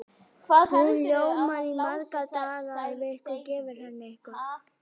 Hún ljómar í marga daga ef einhver gefur henni eitthvað.